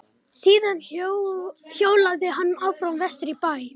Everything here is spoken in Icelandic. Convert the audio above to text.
Síðan hjólaði hann áfram vestur í bæ.